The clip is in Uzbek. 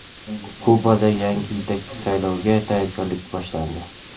Kubada yangi yetakchi sayloviga tayyorgarlik boshlandi.